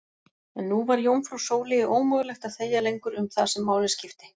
En nú var jómfrú Sóleyju ómögulegt að þegja lengur um það sem máli skipti.